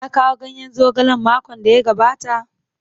Ya kawo ganyen zogalen makon da ya gabata?